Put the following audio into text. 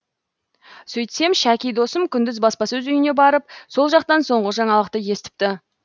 сөйтсем шәки досым күндіз баспасөз үйіне барып сол жақтан соңғы жаңалықты естіпті